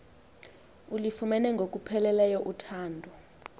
ulufumene ngokupheleleyo uthando